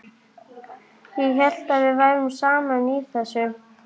Ég hélt við værum saman í þessu.